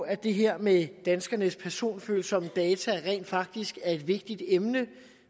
at det her med danskernes personfølsomme data rent faktisk er et vigtigt emne